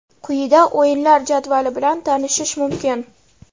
Quyida o‘yinlar jadvali bilan tanishish mumkin.